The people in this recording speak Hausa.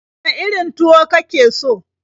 Wane irin tuwo ka ke so?